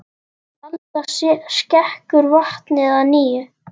Alda skekur vatnið að nýju.